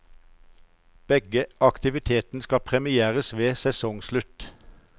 Begge aktivitetene skal premieres ved sesongslutt.